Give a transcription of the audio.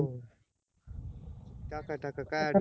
हो टाका टाका काय अडचण